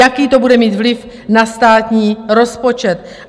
Jaký to bude mít vliv na státní rozpočet?